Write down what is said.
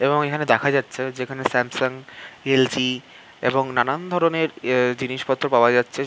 এবং এখানে দেখা যাচ্ছে যে এখানে স্যামসাঙ এল.জি এবং নানান ধরণের জিনিস এ পত্র পাওয়া যাচ্ছে।